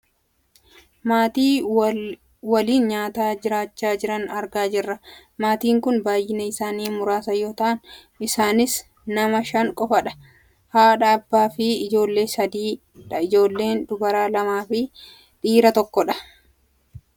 Maatii waliin nyaata nyaachaa jiran argaa jirra . Maatiin kun baayyinni isaanii muraasa yoo ta'an isaanis nama shan qofaadha. Haadha, abbaa fi ijoollee sadii dha. Ijoollee dubaraa lamaafi dhiira tokkodha.